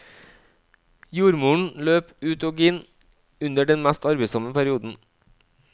Jordmoren løp ut og inn under den mest arbeidsomme perioden.